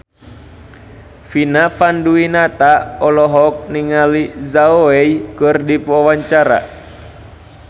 Vina Panduwinata olohok ningali Zhao Wei keur diwawancara